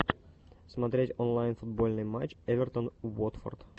смотреть онлайн футбольный матч эвертон уотфорд